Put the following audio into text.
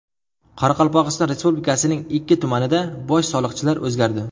Qoraqalpog‘iston Respublikasining ikki tumanida bosh soliqchilar o‘zgardi.